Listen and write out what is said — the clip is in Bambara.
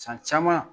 San caman